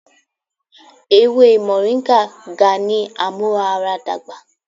Ewe Moringa ga ni amuaradagba